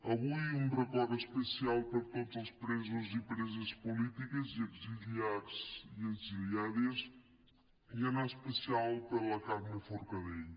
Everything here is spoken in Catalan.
avui un record especial per a tots els presos i preses polítiques i exiliats i exiliades i en especial per a la carme forcadell